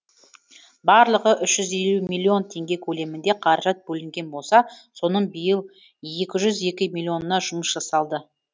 барлығы үш жүз миллион теңге көлемінде қаражат бөлінген болса соның биыл екі жүз екі миллионына жұмыс жасалды